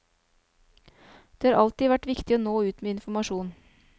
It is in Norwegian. Det har alltid vært viktig å nå ut med informasjon.